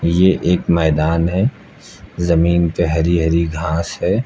ये एक मैदान है जमीन पे हरी हरी घास है।